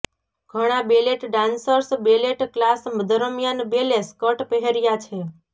ઘણા ballet dancers ballet class દરમિયાન ballet skirt પહેર્યા છે